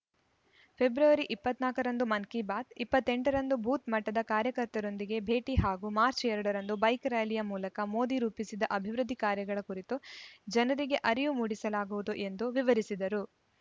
February ಇಪ್ಪತ್ತ್ ನಾಕ ರಂದು ಮನ್‌ ಕಿಬಾತ್‌ ಇಪ್ಪತ್ತ್ ಎಂಟ ರಂದು ಬೂತ್‌ ಮಟ್ಟದ ಕಾರ್ಯಕರ್ತರೊಂದಿಗೆ ಭೇಟಿ ಹಾಗೂ ಮಾರ್ಚ ಎರಡ್ ರಂದು ಬೈಕ್‌ ರಾರ‍ಯಲಿ ಮೂಲಕ ಮೋದಿ ರೂಪಿಸಿದ ಅಭಿವೃದ್ಧಿ ಕಾರ್ಯಗಳ ಕುರಿತು ಜನರಿಗೆ ಅರಿವು ಮೂಡಿಸಲಾಗುವುದು ಎಂದು ವಿವರಿಸಿದರು